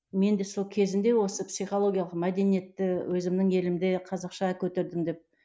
мен де сол кезінде осы психологиялық мәдениентті өзімнің елімде қазақша көтердім деп